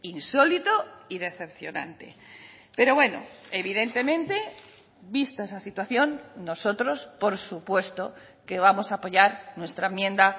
insólito y decepcionante pero bueno evidentemente vista esa situación nosotros por supuesto que vamos a apoyar nuestra enmienda